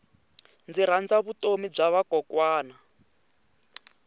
ndzi rhandza vutomi bya vakokwana